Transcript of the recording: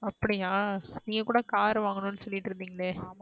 அப்டியா நீ கூட car வந்கனுனு சொல்லிட்டு இருந்தீங்களே.